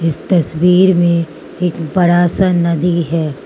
इस तस्वीर में एक बड़ा सा नदी है।